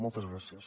moltes gràcies